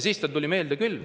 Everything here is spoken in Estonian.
Siis tal tuli meelde küll.